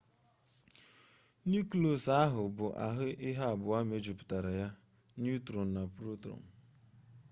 neuklọs ahụ bụ ahụ ihe abụọ mejupụtara ya neutrọn na protọn